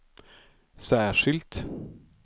särskilt